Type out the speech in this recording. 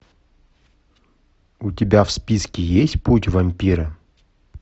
у тебя в списке есть путь вампира